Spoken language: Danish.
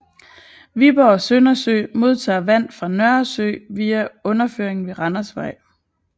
Viborg Søndersø modtager vand fra Nørresø via underføringen ved Randersvej